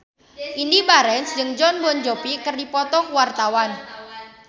Indy Barens jeung Jon Bon Jovi keur dipoto ku wartawan